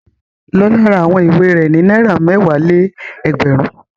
Lọlá ra àwọn ìwé rẹ̀ ní náírà mẹ́wàá-lé-ẹgbẹ̀rún.